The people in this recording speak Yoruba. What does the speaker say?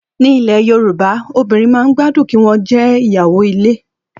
Ní ilẹ̀ Yorùbá obìrin man gbádùn kí wọn jẹ ìyàwó ilé